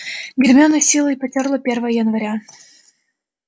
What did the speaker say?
гермиона с силой потёрла первое января